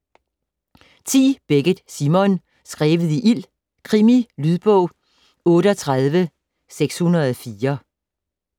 Beckett, Simon: Skrevet i ild: krimi Lydbog 38604